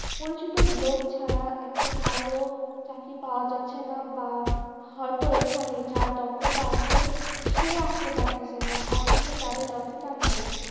পরিচিত লোক ছাড়া একটা ভাল চাকরি পাওয়া যাচ্ছে না বা হয়ত এখানে যার দক্ষতা আছে সে আসতে পারতেছে না অথচ যাদের দক্ষতা নাই